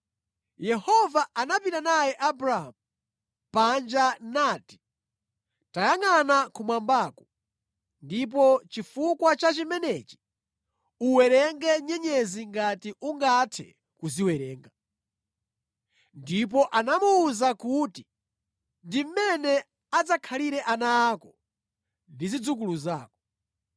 Yehova anapita naye Abramu panja nati, “Tayangʼana kumwambaku, ndipo chifukwa cha chimenechi uwerenge nyenyezi ngati ungathe kuziwerenga.” Ndipo anamuwuza kuti, “Ndi mmene adzakhalire ana ako ndi zidzukulu zako.”